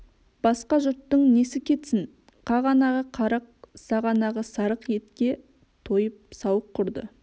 басқа жұрттың несі кетсін қағанағы қарық сағанағы сарық етке тойып сауық кұрды